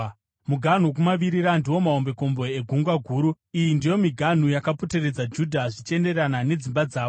Muganhu wokumavirira ndiwo mahombekombe eGungwa Guru. Iyi ndiyo miganhu yakapoteredza Judha zvichienderana nedzimba dzavo.